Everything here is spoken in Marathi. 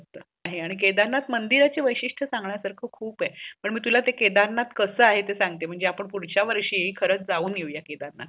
आणि केदारनाथ मंदिरच वेशिष्ट सागण्यासारखा खूप आहे पण मी तुला ते केदारनाथ कसं आहे ते सागतो म्हणजे आपण पुढच्या वर्ष खरच जाऊन येऊया